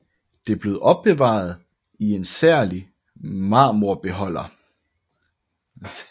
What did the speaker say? Det blev opbevaret i en særlig marmorbeholder